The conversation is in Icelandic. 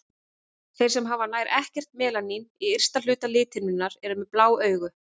Þeir sem hafa nær ekkert melanín í ysta hluta lithimnunnar eru með blá augu.